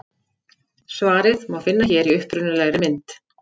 Svarið má finna hér í upprunalegri mynd.